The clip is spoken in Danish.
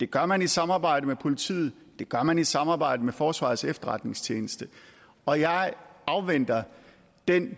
det gør man i samarbejde med politiet det gør man i samarbejde med forsvarets efterretningstjeneste og jeg afventer den